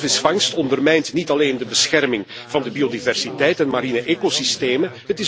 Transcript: Walvisvangst ondermijnt niet alleen de bescherming van de biodiversiteit en marine ecosystemen.